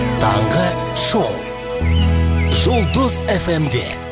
таңғы шоу жұлдыз эф эм де